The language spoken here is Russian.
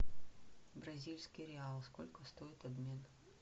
бразильский реал сколько стоит обмен